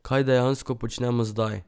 Kaj dejansko počnemo zdaj?